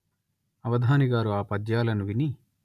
అవధానిగారు ఆ పద్యాలను విని